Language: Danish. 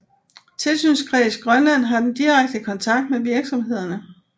Tilsynskreds Grønland har den direkte kontakt med virksomhederne